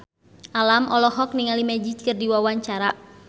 Alam olohok ningali Magic keur diwawancara